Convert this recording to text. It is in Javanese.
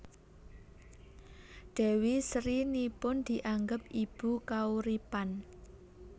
Dewi Sri nipun dianggep ibu kauripan